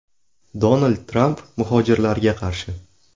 Donald Tramp muhojirlarga qarshi.